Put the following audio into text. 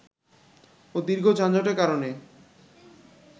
ও দীর্ঘ যানজটের কারণে